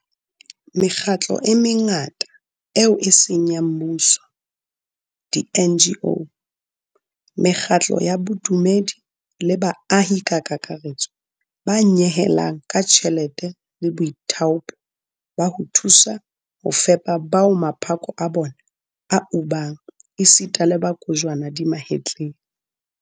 Mekgatlo e mengata eo e seng ya mmuso di-NGO, mekgatlo ya bodumedi le baahi ka kakaretso ba nyehelang ka tjhelete le boithaopo ba ho thusa ho fepa bao maphako a bona a ubang esita le ba kojwana di mahetleng.